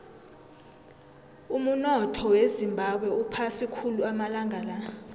umunotho wezimbabwe uphasi khulu amalanga la